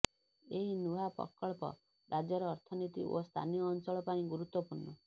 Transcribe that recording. ଏହି ନୂଆ ପ୍ରକଳ୍ପ ରାଜ୍ୟର ଅର୍ଥନୀତି ଓ ସ୍ଥାନୀୟ ଅଂଚଳ ପାଇଁ ଗୁରୁତ୍ୱପୂର୍ଣ